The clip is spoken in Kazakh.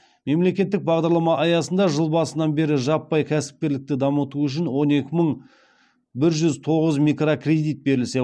мемлекеттік бағдарлама аясында жыл басынан бері жаппай кәсіпкерлікті дамыту үшін он екі мың бір жүз тоғыз микрокредит берілсе